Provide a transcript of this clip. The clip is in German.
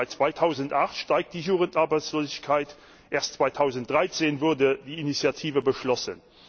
Seit 2008 steigt die Jugendarbeitslosigkeit, erst 2013 wurde die Initiative beschlossen.